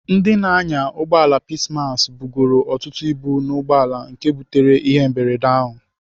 Ndị na-anya ụgbọala Peacemass bugoro ọtụtụ ibu n'ugboala nke butere ihe mberede ahụ.